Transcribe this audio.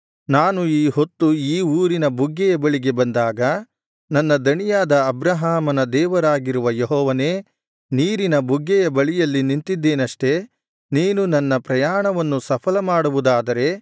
ನಾನು ಈ ಹೊತ್ತು ಈ ಊರಿನ ಬುಗ್ಗೆಯ ಬಳಿಗೆ ಬಂದಾಗ ನನ್ನ ದಣಿಯಾದ ಅಬ್ರಹಾಮನ ದೇವರಾಗಿರುವ ಯೆಹೋವನೇ ನೀರಿನ ಬುಗ್ಗೆಯ ಬಳಿಯಲ್ಲಿ ನಿಂತಿದ್ದೇನಷ್ಟೆ ನೀನು ನನ್ನ ಪ್ರಯಾಣವನ್ನು ಸಫಲಮಾಡುವುದಾದರೆ